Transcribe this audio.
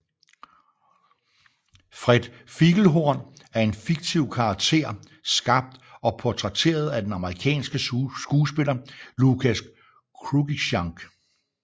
Fred Figglehorn er en fiktiv karakter skabt og portrætteret af den amerikanske skuespiller Lucas Cruikshank